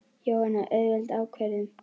Jóhanna: Auðveld ákvörðun?